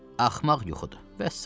Axmaq yuxudur, vəssalam.